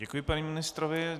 Děkuji panu ministrovi.